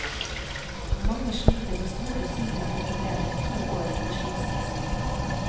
Mange sliter med store psykiske problemer to år etter skilsmissen.